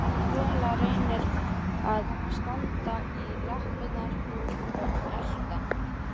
Rola reyndi að standa í lappirnar og elta